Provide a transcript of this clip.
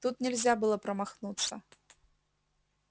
тут нельзя было промахнуться